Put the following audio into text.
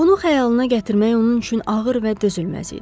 Bunu xəyalına gətirmək onun üçün ağır və dözülməz idi.